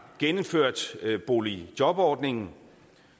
gennemført boligjobordningen